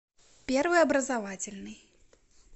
первый образовательный